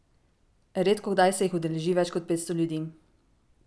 Redkokdaj se jih udeleži več kot petsto ljudi.